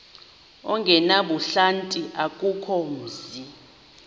ongenabuhlanti akukho mzi